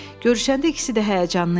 Görüşəndə ikisi də həyəcanlı idi.